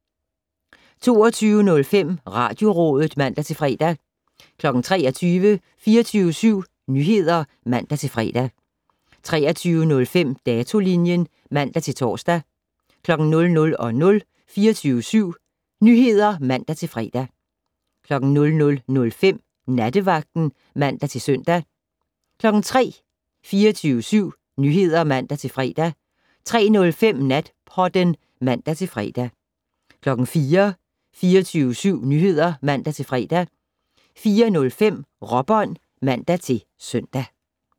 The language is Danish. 22:05: Radiorådet (man-fre) 23:00: 24syv Nyheder (man-fre) 23:05: Datolinjen (man-tor) 00:00: 24syv Nyheder (man-fre) 00:05: Nattevagten (man-søn) 03:00: 24syv Nyheder (man-fre) 03:05: Natpodden (man-fre) 04:00: 24syv Nyheder (man-fre) 04:05: Råbånd (man-søn)